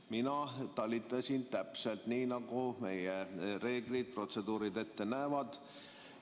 Mina talitasin täpselt nii, nagu meie reeglid ja protseduurid ette näevad.